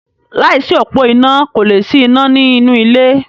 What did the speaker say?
Láìsí òpó iná kò lè sí iná ní inú ilé.